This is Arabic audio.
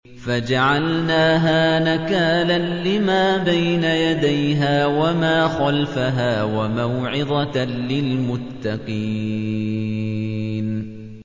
فَجَعَلْنَاهَا نَكَالًا لِّمَا بَيْنَ يَدَيْهَا وَمَا خَلْفَهَا وَمَوْعِظَةً لِّلْمُتَّقِينَ